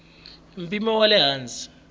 mpimo wa le hansi wa